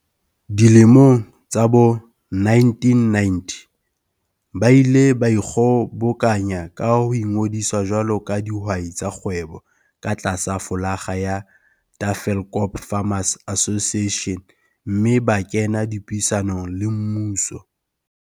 Dilemong tsa bo1990 ba ile ba ikgobokanya ho ingodisa jwalo ka dihwai tsa kgwebo ka tlasa flolaga ya Tafelkop Farmers Association mme ba kena dipuisanong le mmuso.